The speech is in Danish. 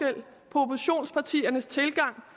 oppositionspartiernes tilgang